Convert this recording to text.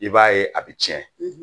I b'a ye a bɛ tiɲɛ